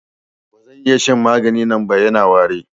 Ba zan iya shan maganin nan ba, Yana wari.